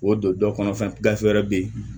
K'o don dɔ kɔnɔ fɛn gafe wɛrɛ bɛ yen